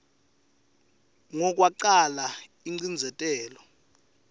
ngo kwacala ingcindzetelo